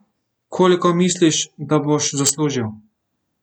Koliko misliš, da boš zaslužil?